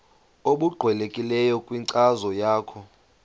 obuqhelekileyo kwinkcazo yakho